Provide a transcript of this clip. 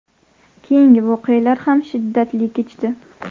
Keyingi voqealar ham shiddatli kechdi.